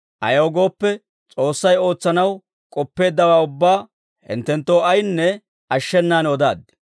Ayaw gooppe, S'oossay ootsanaw k'oppeeddawaa ubbaa hinttenttoo ayinne ashshenaan odaaddi.